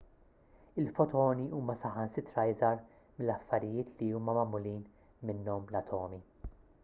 il-fotoni huma saħansitra iżgħar mill-affarijiet li huma magħmulin minnhom l-atomi